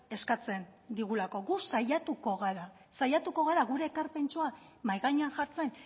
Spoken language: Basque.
eskatzen digulako gu saiatuko gara saiatuko gara gure ekarpentxoa mahai gainean jartzen